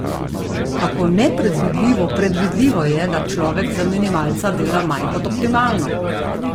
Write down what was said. Kako nepredvidljivo predvidljivo je, da človek za minimalca dela manj kot optimalno?